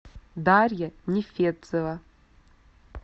дарья нефедцева